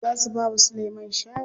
Za su bawa Sulaiman shawara.